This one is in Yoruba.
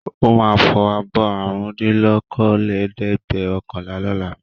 Ó máa fọ abọ́ àrùndínlókòólẹ́ẹ̀dẹ́gbẹ̀ọ̀kànlá lọ́la.